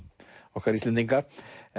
okkar Íslendinga